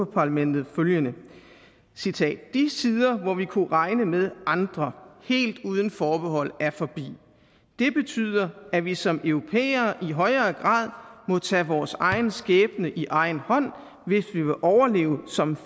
parlamentet følgende de tider hvor vi kunne regne med andre helt uden forbehold er forbi det betyder at vi som europæere i højere grad må tage vores egen skæbne i egen hånd hvis vi vil overleve som